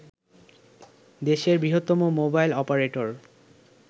দেশের বৃহত্তম mobile operator